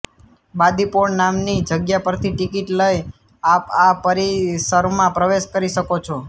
બાદી પૉળ નામની જગ્યા પરથી ટિકિટ લઇને આપ આ પરિસરમાં પ્રવેશ કરી શકો છો